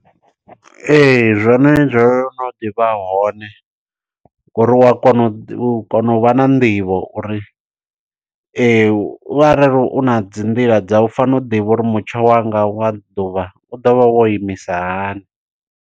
Ee zwone zwono ḓivha hone, ngo uri wa kona u ḓi, u a kona u vha na nḓivho uri, u arali u na dzi nḓila dzau, u fanela u ḓivha uri mutsho wanga wa ḓuvha u ḓo vha wo imisa hani.